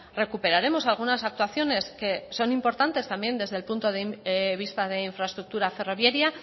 recuperaremos algunas actuaciones que son importantes también desde el punto de vista de infraestructura ferroviaria